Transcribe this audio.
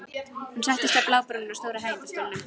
Hún settist á blábrúnina á stóra hægindastólnum.